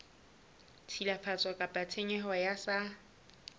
tshilafatso kapa tshenyo e sa